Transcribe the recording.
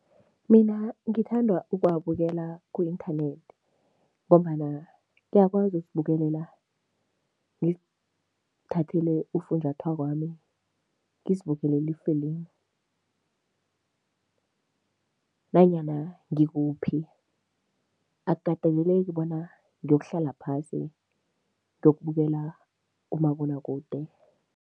Mina ngithanda ukuwabukela ku-inthanethi ngombana ngiyakwazi ukuzibukelela, ngizithathele ufunjathwakwami, ngizibukele ifilimu nanyana ngikuphi. Akukateleleki bona ngiyokuhlola phasi ngiyokubukela kumabonwakude.